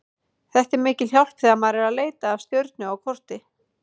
Þetta er mikil hjálp þegar maður er að leita að stjörnu á korti.